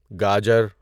گاجر